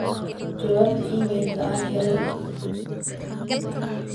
jawaab iimaylka aan helay